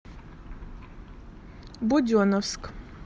буденновск